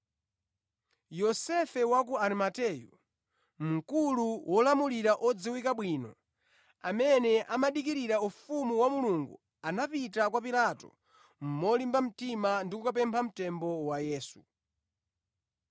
Yosefe wa ku Arimateyu, mkulu wolamulira odziwika bwino, amene amadikirira ufumu wa Mulungu, anapita kwa Pilato molimba mtima ndi kukapempha mtembo wa Yesu.